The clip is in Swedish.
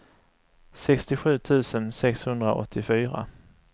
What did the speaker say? sextiosju tusen sexhundraåttiofyra